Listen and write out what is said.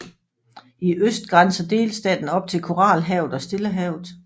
I øst grænser delstaten op til Koralhavet og Stillehavet